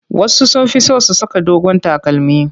Wasu sun fi son su saka dogon takalmi.